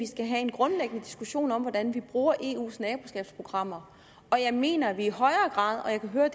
skal have en grundlæggende diskussion om hvordan vi bruger eus naboskabsprogrammer og jeg mener at vi i højere grad og jeg kan høre